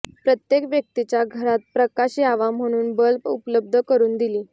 प्रत्येक व्यक्तीच्या घरात प्रकाश यावा म्हणून बल्ब उपलब्ध करून दिली